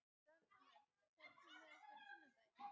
Rannver, ferð þú með okkur á sunnudaginn?